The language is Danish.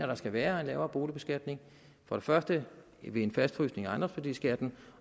der skal være en lavere boligbeskatning for det første ved en fastfrysning af ejendomsværdiskatten